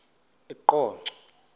eqonco